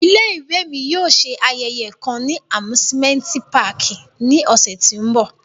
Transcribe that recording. Ile-iwe mi yóò ṣe ayẹyẹ kan ni amusimenti pààki ni ọsẹ ti n bọ.